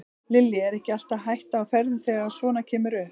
Lillý: Er ekki alltaf hætta á ferðum þegar að svona kemur upp?